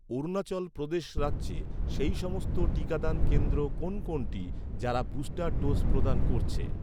অরুণাচল প্রদেশ রাজ্যে, সেই সমস্ত টিকাদান কেন্দ্র কোন কোনটি, যারা বুস্টার ডোজ প্রদান করছে?